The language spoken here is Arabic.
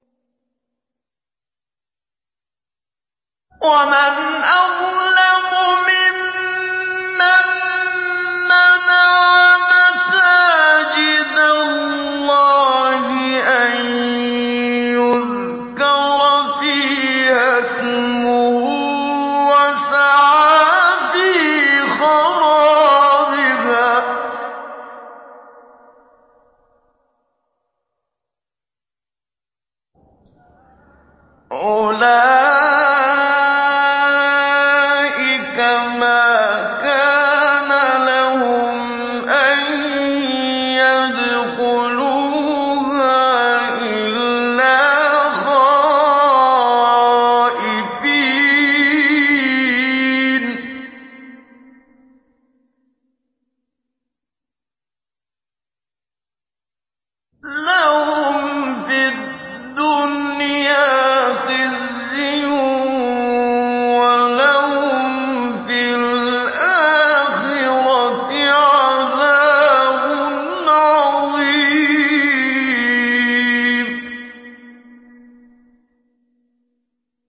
وَمَنْ أَظْلَمُ مِمَّن مَّنَعَ مَسَاجِدَ اللَّهِ أَن يُذْكَرَ فِيهَا اسْمُهُ وَسَعَىٰ فِي خَرَابِهَا ۚ أُولَٰئِكَ مَا كَانَ لَهُمْ أَن يَدْخُلُوهَا إِلَّا خَائِفِينَ ۚ لَهُمْ فِي الدُّنْيَا خِزْيٌ وَلَهُمْ فِي الْآخِرَةِ عَذَابٌ عَظِيمٌ